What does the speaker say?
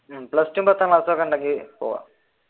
plus two പത്താം class ഒക്കെയുണ്ടെങ്കി പോവാം.